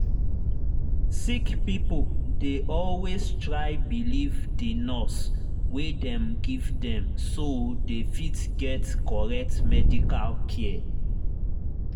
sick pipo dey always try believe the nurse wey dem give dem so dey fit get correct medical care